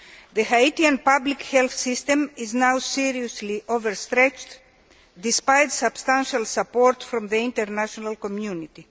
The Haitian public health system is now seriously overstretched, despite substantial support from the international community.